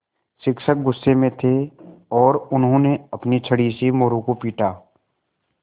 शिक्षक गुस्से में थे और उन्होंने अपनी छड़ी से मोरू को पीटा